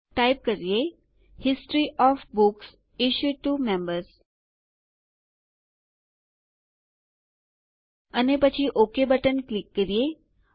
ચાલો ટાઈપ કરીએ history of books issued to members અને પછી ઓક બટન ક્લિક કરીએ